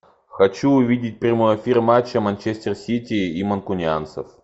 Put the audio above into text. хочу увидеть прямой эфир матча манчестер сити и манкунианцев